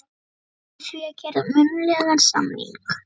með því að gera munnlegan samning.